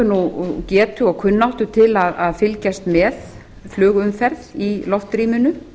höfum getu og kunnáttu til að fylgjast með flugumferð í loftrýminu